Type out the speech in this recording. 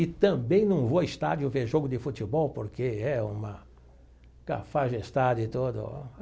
E também não vou a estádio ver jogo de futebol porque é uma cafajestagem e tudo.